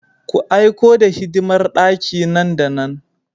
Ku aiko the hidimar daki nan da nan!